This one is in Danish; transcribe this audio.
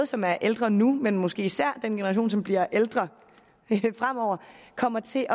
som er ældre nu men måske især den generation som bliver ældre fremover kommer til at